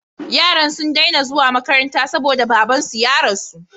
Yaran sun dai na zuwa makaranta saboda baban su ya rasu